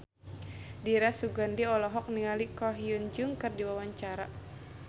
Dira Sugandi olohok ningali Ko Hyun Jung keur diwawancara